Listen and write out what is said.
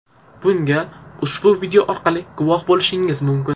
Bunga ushbu video orqali guvoh bo‘lishingiz mumkin !